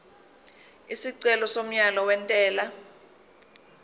isicelo somyalo wentela